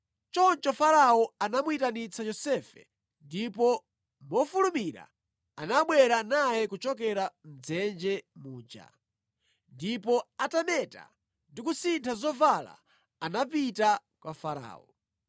Choncho Farao anamuyitanitsa Yosefe, ndipo mofulumira anabwera naye kuchokera mʼdzenje muja. Ndipo atameta, ndi kusintha zovala, anapita kwa Farao.